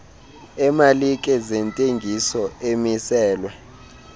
emalike zentengiso amiselwe